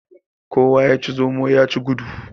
Kowa yaci zomo yaci gudu.